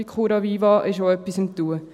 Bei Curaviva ist auch etwas in Gang.